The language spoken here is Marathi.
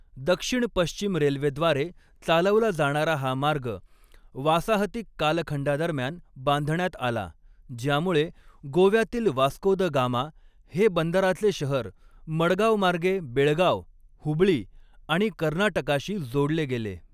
दक्षिण पश्चिम रेल्वेद्वारे चालवला जाणारा हा मार्ग वासाहतिक कालखंडादरम्यान बांधण्यात आला, ज्यामुळे गोव्यातील वास्को द गामा हे बांद्राचे शहर मडगावमार्गे बेळगाव, हुबळी आणि कर्नाटकाशी जोडले गेले.